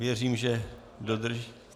Věřím, že dodrží...